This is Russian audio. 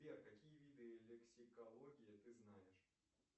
сбер какие виды лексикологии ты знаешь